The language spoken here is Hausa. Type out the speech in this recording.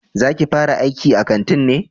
Za ki fara aiki a kanti ne?